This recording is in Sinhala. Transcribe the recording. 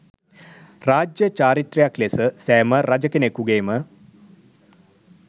රාජ්‍ය චාරිත්‍රයක් ලෙස සෑම රජ කෙනෙකුගේම